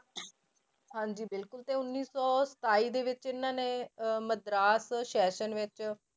ਹਾਂਜੀ ਬਿਲਕੁਲ ਤੇ ਉੱਨੀ ਸੌ ਸਤਾਈ ਦੇ ਵਿੱਚ ਇਹਨਾਂ ਨੇ ਅਹ ਮਦਰਾਸ session ਵਿੱਚ